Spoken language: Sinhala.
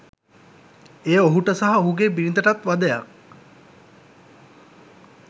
එය ඔහුට සහ ඔහුගේ බිරිඳටත් වදයක්